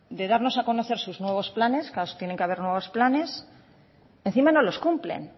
de darnos a conocer sus nuevos planes claro tiene que haber nuevos planes encima no los cumplen